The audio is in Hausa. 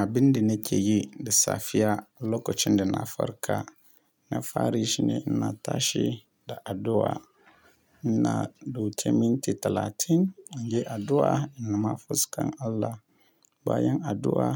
Abin da nake yi da safiya lokacin da na farka, na fari shi ne na tashi da addu'a. Na dauki minti talatin in yi addu'a na ma fuskan Allah. Bayan addu'a